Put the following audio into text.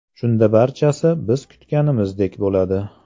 Shunda barchasi biz kutganimizdek bo‘ladi.